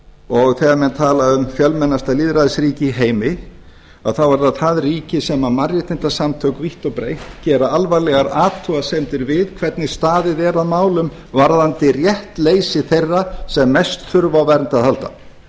og þegar menn tala um fjölmennasta lýðræðisríki í heimi þá er það það ríki sem mannréttindasamtök vítt og breitt gera alvarlegar athugasemdir við hvernig staðið er að málum varðandi réttleysi þeirra sem mest þurfa á vernd að halda